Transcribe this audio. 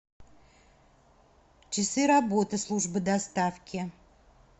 часы работы службы доставки